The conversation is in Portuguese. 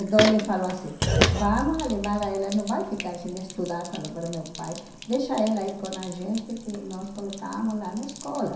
Então ele falou assim, vamos levar ela, não vai ficar sem estudar, falou para meu pai, deixa ela ir com a gente que nós colocamos lá na escola.